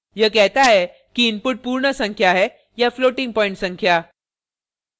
यह कहता है कि input पूर्ण संख्या है या floating प्वॉइंट संख्या